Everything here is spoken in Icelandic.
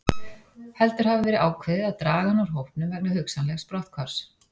Heldur hafi verið ákveðið að draga hann úr hópnum vegna hugsanlegs brotthvarfs.